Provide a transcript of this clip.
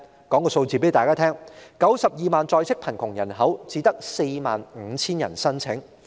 我且告訴大家有關數字，在 920,000 在職貧窮人口中，只有 45,000 人申請。